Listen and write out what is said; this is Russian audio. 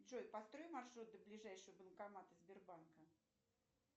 джой построй маршрут до ближайшего банкомата сбербанка